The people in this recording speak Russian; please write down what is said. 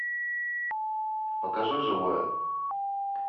покажи живое